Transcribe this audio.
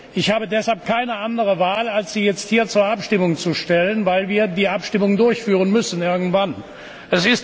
Ich habe deshalb keine andere Wahl, als sie jetzt hier zur Abstimmung zu stellen, weil wir die Abstimmung irgendwann durchführen müssen.